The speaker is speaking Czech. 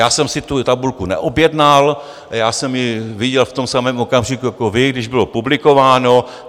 Já jsem si tu tabulku neobjednal, já jsem ji viděl v tom samém okamžiku jako vy, když bylo publikováno.